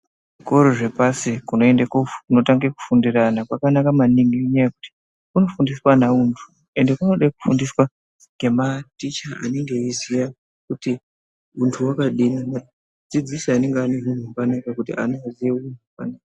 Zvikoro zvepasi kunoende koofu kunotange kufundira ana kwakanaka maningi, ngenyaya yekuti kunofundiswa ana untu, ende kunode kufundiswa ngematicha anenge eiziye kuti untu wakadini. Dzidziso yandingamupa kuti ana aziye untu yakadini.